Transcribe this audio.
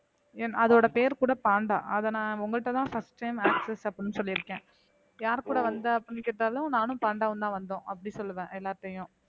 என் அதோட பேர் கூட பாண்டா அதை நான் உங்கள்ட்டதான் first time access அப்படின்னு சொல்லியிருக்கேன் யார் கூட வந்த அப்படின்னு கேட்டாலும் நானும் பாண்டவும்தான் வந்தோம் அப்படி சொல்லுவேன் எல்லார்கிட்டயும்